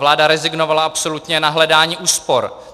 Vláda rezignovala absolutně na hledání úspor.